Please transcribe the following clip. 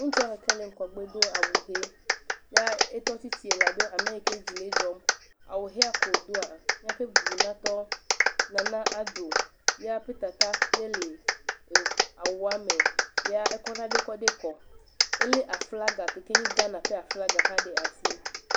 Ŋutsua ɖeka le ŋgɔgbe do awu ʋee. Ya etɔ tsitsi labe ame yi ked zi le edzɔm. Awu ʋea ke wòdoa, míaƒe bubunatɔ Nana Adoo ya ƒe tata yae le eŋ, awua me. Ekɔ nane kɔ kɔ de kɔ. Elé aflaga ke keye Ghana ƒe aflaga ɖe asi.